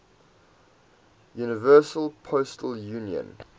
universal postal union